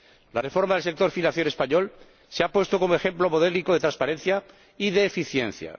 La reforma del sector financiero español se ha puesto como ejemplo modélico de transparencia y de eficiencia.